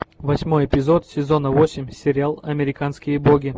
восьмой эпизод сезона восемь сериал американские боги